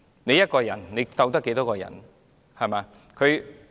畢竟，一個人能對抗多少人呢？